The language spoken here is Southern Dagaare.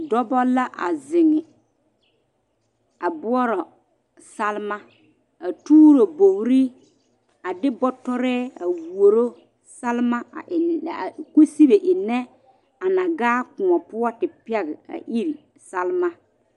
Dɔɔba la a zeŋ a boɔrɔ salma a tuuro bogri a de boɔtɔre a woro salma a enne kosibe enne a na gaa kõɔ poɔ te pɛge a iri salma.